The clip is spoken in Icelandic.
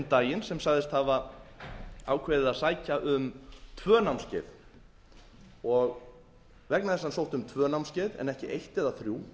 daginn sem sagðist hafa ákveðið að sækja um tvö námskeið vegna þess að hann sótti um tvö námskeið en ekki eitt eða þrjú